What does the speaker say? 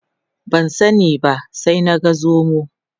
Ban sani ba sai na ga zomon.